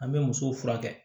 An bɛ muso furakɛ